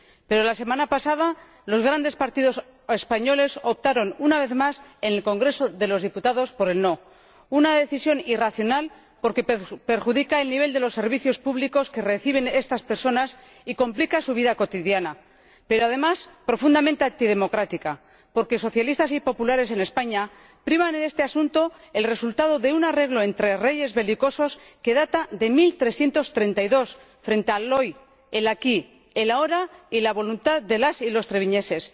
Pero la semana pasada los grandes partidos españoles optaron, una vez más, en el Congreso de los Diputados, por el no una decisión irracional, porque perjudica el nivel de los servicios públicos que reciben estas personas y complica su vida cotidiana, pero, además, profundamente antidemocrática, porque socialistas y populares en España priman en este asunto el resultado de un arreglo entre reyes belicosos que data de 1332 frente al hoy, el aquí, el ahora y la voluntad de las y los treviñeses.